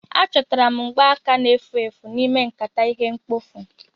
Achọtara m mgbaaka na-efu efu n'ime nkata ihe mkpofu